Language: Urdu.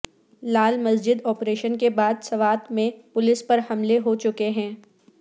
لال مسجد اپریشن کے بعد سوات میں پولیس پر حملے ہوچکے ہیں